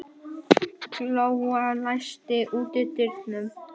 Glóa, læstu útidyrunum.